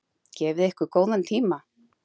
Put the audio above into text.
Gefið ykkur góðan tíma.